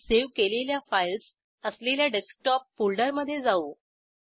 आणि सेव्ह केलेल्या फाईल्स असलेल्या डेस्कटॉप फोल्डरमधे जाऊ